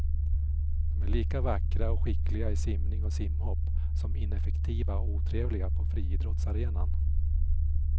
De är lika vackra och skickliga i simning och simhopp som ineffektiva och otrevliga på friidrottsarenan.